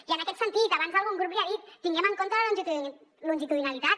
i en aquest sentit abans algun grup li ho ha dit tinguem en compte la longitudinalitat